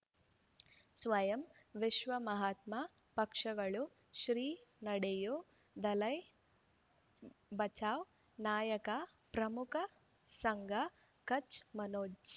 ಸ್ವಯಂ ವಿಶ್ವ ಮಹಾತ್ಮ ಪಕ್ಷಗಳು ಶ್ರೀ ನಡೆಯೂ ದಲೈ ಬಚಾ ನಾಯಕ ಪ್ರಮುಖ ಸಂಘ ಕಚ್ ಮನೋಜ್